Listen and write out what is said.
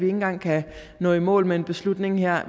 engang kan nå i mål med en beslutning her